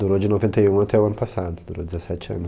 Durou de noventa e um até o ano passado, durou dezessete anos.